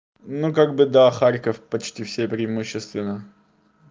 ну как бы да харьков почти все преимущественно